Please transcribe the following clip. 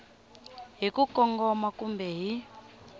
hi ku kongoma kumbe hi